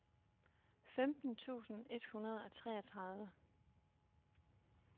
femten tusind et hundrede og treogtredive